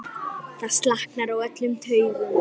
Það slaknar á öllum taugum.